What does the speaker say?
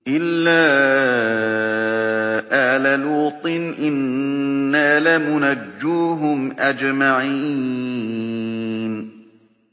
إِلَّا آلَ لُوطٍ إِنَّا لَمُنَجُّوهُمْ أَجْمَعِينَ